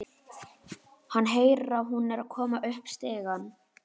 Hann heyrir að hún er að koma upp stigann.